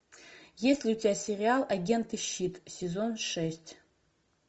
есть ли у тебя сериал агенты щит сезон шесть